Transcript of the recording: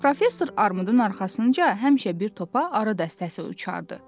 Professor Armudun arxasınca həmişə bir topa ara dəstəsi uçardı.